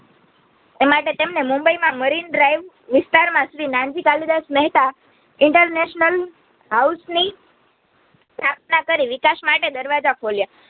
એમટે તેમને મુંબઈમાં મરીનડ્રાઇવ વિસ્તારમાં શ્રી નાનજી કાલિદાસ મેહતા InternationalHouse ની સ્થાપન કરી વિકાસમાટે દરવાજા ખોલ્યા